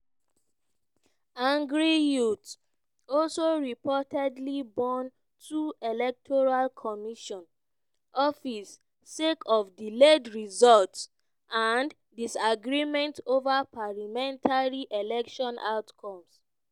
angry youths also reportedly burn two electoral commission offices sake of delayed results and disagreements over parliamentary election outcomes.